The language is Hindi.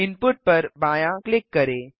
इनपुट पर बायाँ क्लिक करें